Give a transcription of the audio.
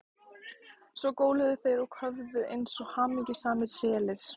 Svo góluðu þeir og köfuðu eins og hamingjusamir selir.